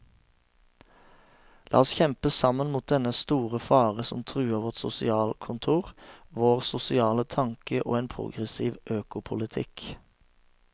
La oss kjempe sammen mot dennne store fare som truer vårt sosialkontor, vår sosiale tanke og en progressiv økopolitikk.